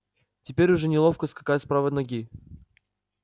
теперь уже неловко скакать с правой ноги